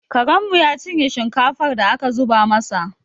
Karenmu ya cinye shinkafar da aka zuba masa